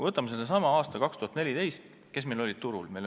Võtame sellesama aasta 2014: kes meil olid siis turul?